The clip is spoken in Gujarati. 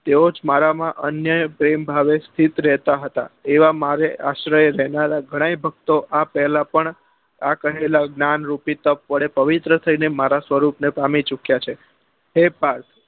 તેઓ જ મારા માં અન્ય પ્રેમ ભાવે સ્થિત રહેતા હતા એવા મારે આશરે રહેનારા ગણાય ભક્તો આ પહેલા પણ આ કહેલા જ્ઞાન રૂપી તપ વડે પવિત્ર થઇ ને મારા સ્વરૂપ ને પામી ચુક્યા છે હે પાર્થ